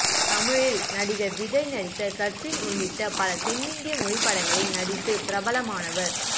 தமிழில் நடிகர் விஜய் நடித்த சச்சின் உள்ளிட்ட பல தென்னிந்திய மொழி படங்களில் நடித்து பிரபலமானவர்